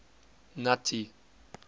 nuttie